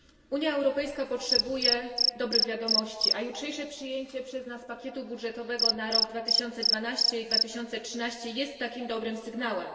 Unia Europejska potrzebuje dobrych wiadomości, a jutrzejsze przyjęcie przez nas pakietu budżetowego na rok 2012 i 2013 jest takim dobrym sygnałem.